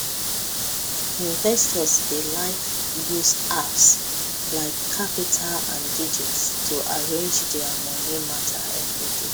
investors dey like use apps like qapital and digit to arrange their moni matter every day